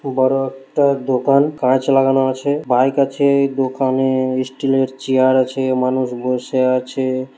বড় একটা দোকান কাঁচ লাগানো আছে বাইক আছে-ই দোকান-এ স্টিলের চেয়ার আছে মানুষ বসে আছে।